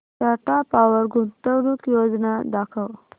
Tata Power गुंतवणूक योजना दाखव